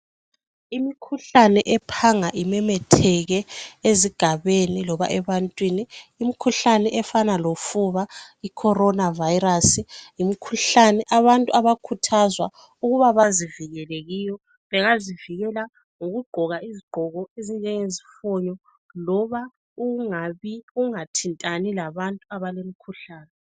Imikhuhlane ephanga imemetheke ezigabeni loba ebantwini imikhuhlane efana lofuba iCorona Virus yimkhuhlane abantu abakhuthazwa ukuba bazivikele kiyo bangazivikela ngokugqoka izigqoko ezinjenge zifunyo loba ukungathintani labantu abalomkhuhlane